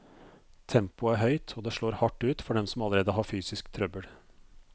Tempoet er høyt, og det slår hardt ut for dem som allerede har fysisk trøbbel.